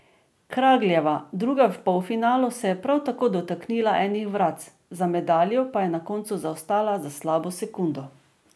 Kragljeva, druga v polfinalu, se je prav tako dotaknila enih vratc, za medaljo pa je na koncu zaostala za slabo sekundo.